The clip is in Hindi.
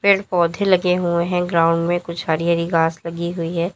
पेड़ पौधे लगे हुए हैं ग्राउंड में कुछ हरि हरि घास लगी हुई है।